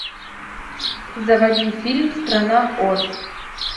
заводи фильм страна оз